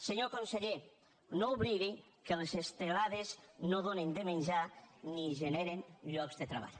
senyor conseller no oblidi que les estelades no donen de menjar ni generen llocs de treball